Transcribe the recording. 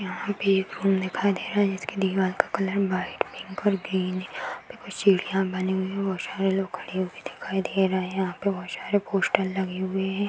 यहाँ पे एक रूम दिखाई दे रहा है जिसके दिवार का कलर वाइट पिंक और ग्रीन है सीढ़ियां बानी हुई है। बहुत सारे लोग खड़े हुए दिखाई दे रही हैं। यहाँ पे बहुत सारे पोस्टर लगे हुए हैं।